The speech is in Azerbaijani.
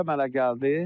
Ot əmələ gəldi.